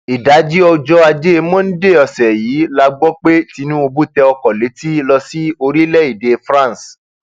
ìdajì ọjọ ajé monde ọsẹ yìí la gbọ pé tinubu tẹ ọkọ létí lọ sí orílẹèdè france